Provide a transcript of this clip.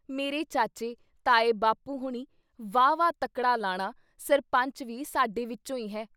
ਮੇਰੇ ਚਾਚੇ, ਤਾਏ ਬਾਪੂ ਹੋਣੀ, ਵਾਹਵਾ ਤੱਕੜਾ ਲਾਣਾ, ਸਰਪੰਚ ਵੀ ਸਾਡੇ ਵਿੱਚੋਂ ਈ ਹੈ।